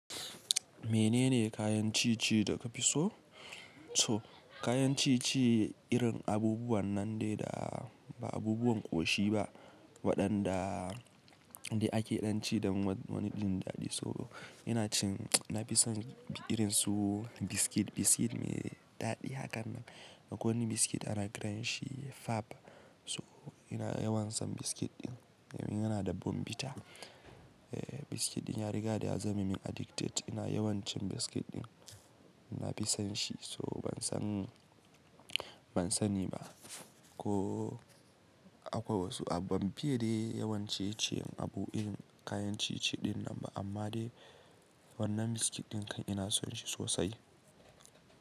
Menene kayan ci-ci da ka fi so? So kayan ci-ci irin abubuwan nan dai da ba abubuwan ƙoshi ba waɗanda ake ɗan ci da wani ɗin daɗi. So ina cin, na fi son irin su biskit. Biskit mai daɗi hakan nan. Akwai wani biskit ana kiran shi Fab. So ina yawan son biskit ɗin, ina da bonbita. Ehh biskit ɗin na riga da ya zame min addicted. Ina yawan cin biskit ɗin, na fi son shi. So ban san, ban sani ba ko akwai wasu abu, ban fiye dai yawan ciye abu irin kayan ci-ci ɗinnan ba amma dai wannan biskit ɗinkan ina son shi sosai.